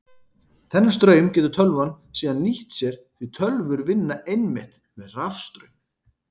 Þennan straum getur tölvan síðan nýtt sér því tölvur vinna einmitt með rafstraum.